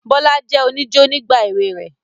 Bọlá jẹ́ oníjó nígbà èwe rẹ̀